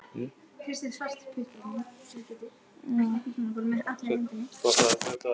Dimmblá, hvað er jörðin stór?